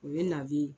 O ye naze ye